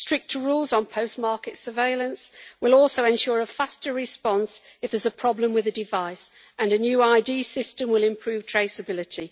Stricter rules on post market surveillance will also ensure a faster response if there is a problem with a device and a new ID system will improve traceability.